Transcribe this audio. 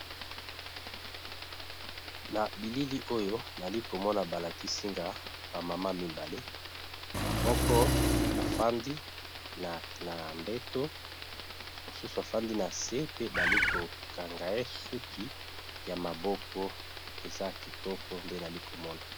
Na bilili nali komoni bazolakisa Ngai ezali ba maman bafandi na se Moko Azo kanga mususu suki